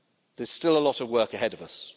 issues. There's still a lot of work ahead